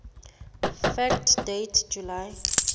fact date july